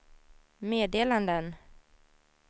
meddelanden